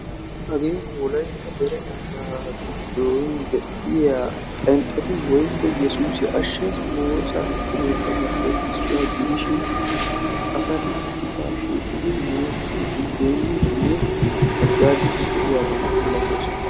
Hagee wolaytta wolaytta deree asaa gidon de'iya phenxxetti woosa keettatuppe issuwa gidishin asatti issippe shiiqidi woossiddi de'iyaba malatosonna.